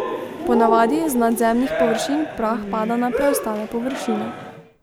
Ponavadi z nadzemnih površin prah pada na preostale površine.